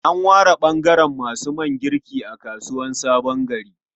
An ware ɓangaren masu man girki a kasuwar Sabon Gari.